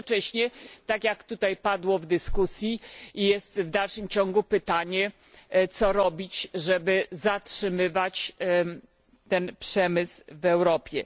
Jednocześnie tak jak tutaj padło w dyskusji w dalszym ciągu pada pytanie, co robić, żeby zatrzymywać ten przemysł w Europie.